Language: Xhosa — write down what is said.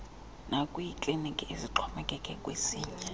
nakwiikliniki ezixhomekeke kwezinye